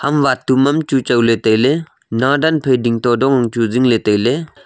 ham wat tu mam chu chawle taile naadan phai ding to dong ang chu zingle taile.